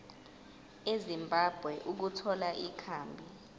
ezimbabwe ukuthola ikhambi